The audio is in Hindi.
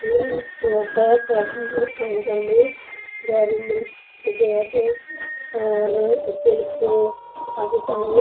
ये एक शॉप है शॉप में अंकल है डेरी मिल्क किटकैट और सिल्क काफी सारे --